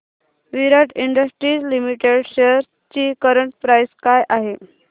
विराट industries limited shares ची current price काय आहे